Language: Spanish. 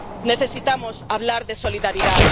Necesitamos hablar de solidaridad.